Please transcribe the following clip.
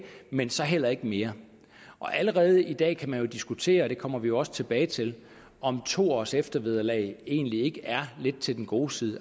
men så heller ikke mere allerede i dag kan man jo diskutere det kommer vi også tilbage til om to års eftervederlag egentlig ikke er lidt til den gode side